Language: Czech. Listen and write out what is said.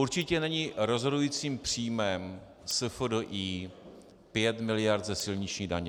Určitě není rozhodujícím příjmem SFDI 5 miliard ze silniční daně.